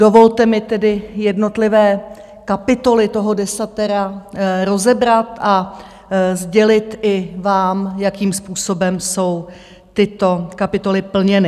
Dovolte mi tedy jednotlivé kapitoly toho desatera rozebrat a sdělit i vám, jakým způsobem jsou tyto kapitoly plněny.